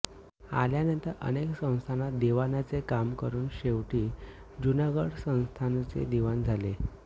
आल्यानंतर अनेक संस्थानात दिवाणाचे काम करून शेवटी जुनागड संस्थानचे दिवाण झाले